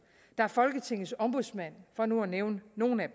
der er folketingets ombudsmand for nu at nævne nogle af